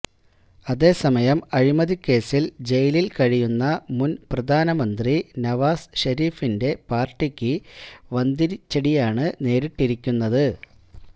അതേസമയം അഴിമതിക്കേസില് ജയലില് കഴിയുന്ന മുന് പ്രധാനമന്ത്രി നവാസ് ഷെരീഫിന്റെ പാര്ട്ടിക്ക് വന്തിരിച്ചടിയാണ് നേരിട്ടിരിക്കുന്നത്